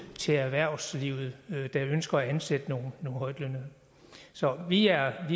til erhvervslivet der ønsker at ansætte nogle højtlønnede så vi er